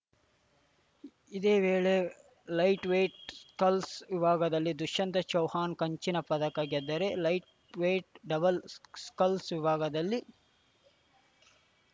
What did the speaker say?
ಇದೇ ವೇಳೆ lightweight sculls ವಿಭಾಗದಲ್ಲಿ ದುಶ್ಯಂತ್‌ ಚೌವ್ಹಾಣ್‌ ಕಂಚಿನ ಪದಕ ಗೆದ್ದರೆ ಲೈಟ್‌ವೇಟ್‌ ಡಬಲ್‌ ಸ್ಕಲ್ಸ್‌ ವಿಭಾಗದಲ್ಲಿ